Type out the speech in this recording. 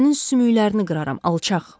Sənin sümüklərini qıraram, alçaq.